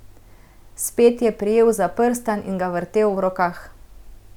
Spet je prijel za prstan in ga vrtel v rokah.